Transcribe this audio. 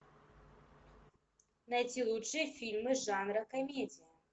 найти лучшие фильмы жанра комедия